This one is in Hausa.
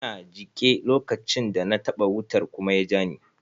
Ina jike lokacin da na taɓa wutar kuma ya jani.